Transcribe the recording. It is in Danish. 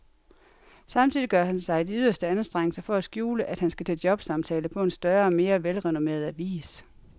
Samtidig gør han sig de yderste anstrengelser for at skjule, at han skal til jobsamtale på en større og mere velrenommeret avis.